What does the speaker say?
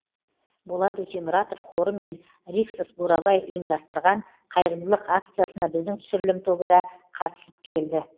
болат өтемұратов қоры мен риксос бурабай ұйымдастырған қайырымдылық акциясына біздің түсірілім тобы да қатысып келді